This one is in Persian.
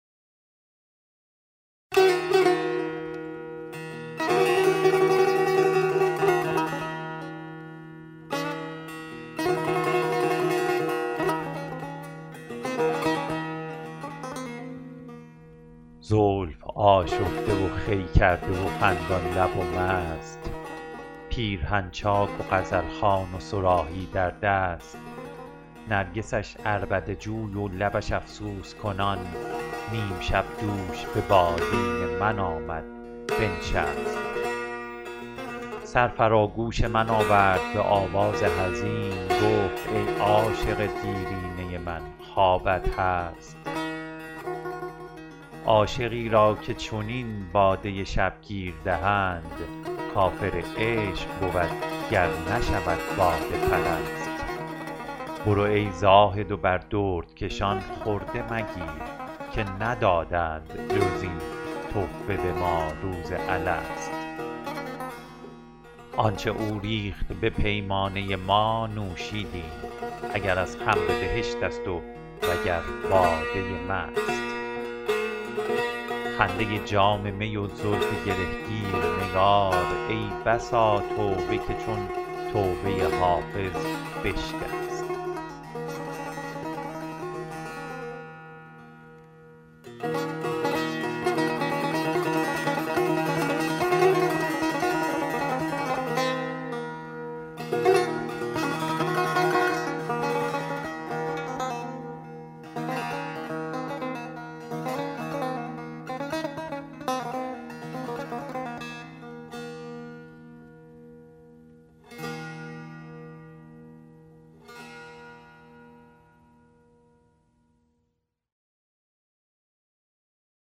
زلف آشفته و خوی کرده و خندان لب و مست پیرهن چاک و غزل خوان و صراحی در دست نرگسش عربده جوی و لبش افسوس کنان نیم شب دوش به بالین من آمد بنشست سر فرا گوش من آورد به آواز حزین گفت ای عاشق دیرینه من خوابت هست عاشقی را که چنین باده شبگیر دهند کافر عشق بود گر نشود باده پرست برو ای زاهد و بر دردکشان خرده مگیر که ندادند جز این تحفه به ما روز الست آن چه او ریخت به پیمانه ما نوشیدیم اگر از خمر بهشت است وگر باده مست خنده جام می و زلف گره گیر نگار ای بسا توبه که چون توبه حافظ بشکست